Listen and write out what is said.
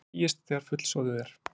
Síist þegar fullsoðið er.